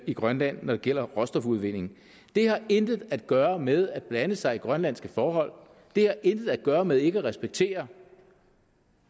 i grønland når det gælder råstofudvinding det har intet at gøre med at blande sig i grønlandske forhold det har intet at gøre med ikke at respektere